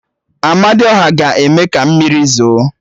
Amadiọha ga-eme ka mmiri zo